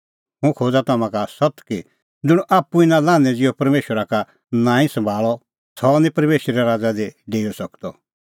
हुंह खोज़ा तम्हां का सत्त कि ज़ुंण बी परमेशरे राज़ा इना शोहरू ज़िहअ ग्रैहण निं करे सह निं तेथ कधि डेऊई सकदअ